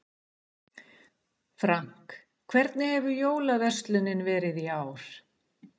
Frank, hvernig hefur jólaverslunin verið í ár?